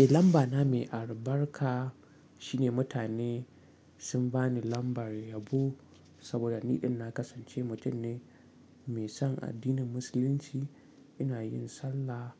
Eh lamba na mai arbarka shine mutane sun bani lambar yabo saboda niɗin na kasance mutun ne mai son addinin musulunci. Ina yin sallah,